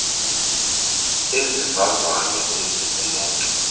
ezivavanya umzisi moto